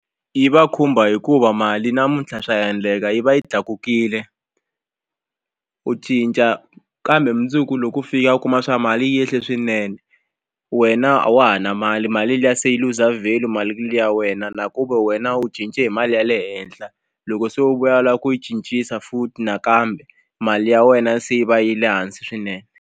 Yi va khumba hikuva mali namuntlha swa endleka yi va yi tlakukile u cinca kambe mundzuku loko u fika u kuma swa ku mali yi yehle swinene wena a wa ha ri na mali mali liya se yi luza value mali ya wena na ku ve wena u cince hi mali ya le henhla loko se u vuya u lava ku yi cincisa futhi nakambe mali ya wena se yi va ya le hansi swinene.